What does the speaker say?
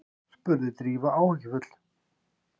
spurði Drífa áhyggjufull.